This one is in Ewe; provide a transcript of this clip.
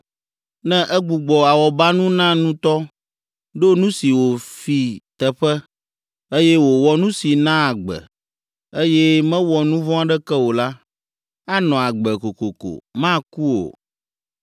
ne egbugbɔ awɔbanu na nutɔ, ɖo nu si wòfi teƒe, eye wòwɔ nu si naa agbe, eye mewɔ nu vɔ̃ aɖeke o la, anɔ agbe kokoko, maku o.